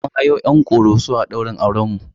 Mun hayo 'yan Ƙoroso a ɗaurin aurenmu.